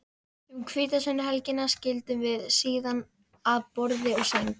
Um hvítasunnuhelgina skildum við síðan að borði og sæng.